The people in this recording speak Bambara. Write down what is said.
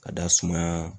Ka da sumaya